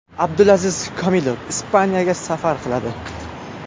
Abdulaziz Komilov Ispaniyaga safar qiladi.